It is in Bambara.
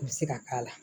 U bɛ se ka k'a la